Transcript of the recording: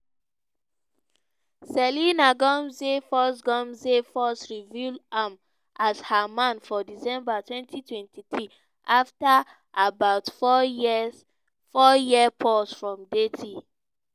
selena gomez first gomez first reveal am as her man for december 2023 afta about four year pause from dating.